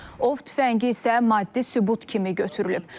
Ov tüfəngi isə maddi sübut kimi götürülüb.